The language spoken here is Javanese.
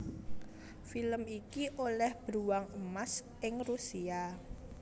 Film iki olêh Bruwang Emas ing Rusia